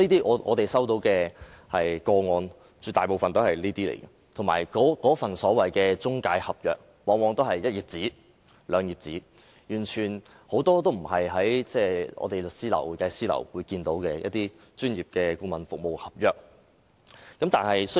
我們接獲的個案絕大部分屬於這類，而且那份所謂中介合約，往往只是一兩頁紙，完全不是我們在律師樓或會計師樓看到的專業顧問服務合約。